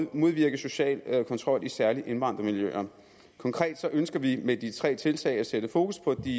modvirke social kontrol i særligt indvandrermiljøer konkret ønsker vi med de tre tiltag at sætte fokus på de